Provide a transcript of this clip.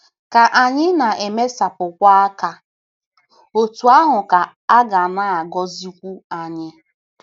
Ka anyị na - emesapụkwu aka, otú ahụ ka a ga na - agọzikwu anyị.